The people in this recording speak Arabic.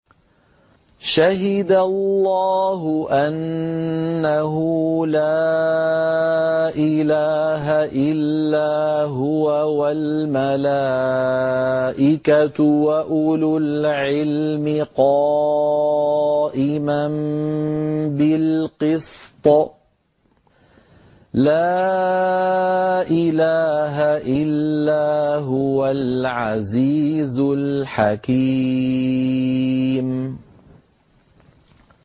شَهِدَ اللَّهُ أَنَّهُ لَا إِلَٰهَ إِلَّا هُوَ وَالْمَلَائِكَةُ وَأُولُو الْعِلْمِ قَائِمًا بِالْقِسْطِ ۚ لَا إِلَٰهَ إِلَّا هُوَ الْعَزِيزُ الْحَكِيمُ